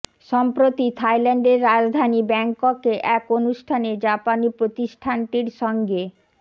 সম্প্রতি থাইল্যান্ডের রাজধানী ব্যাংককে এক অনুষ্ঠানে জাপানি প্রতিষ্ঠানটির সঙ্গে